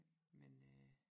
Men øh